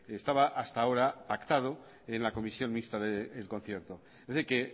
estaba hasta ahora pactado en la comisión mixta del concierto es decir que